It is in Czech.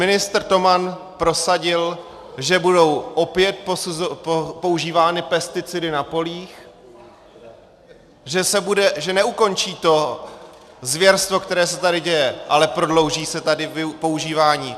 Ministr Toman prosadil, že budou opět používány pesticidy na polích, že neukončí to zvěrstvo, které se tady děje, ale prodlouží se tady používání.